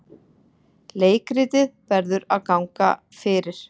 Leikritið verður að ganga fyrir.